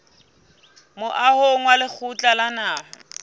moahong wa lekgotla la naha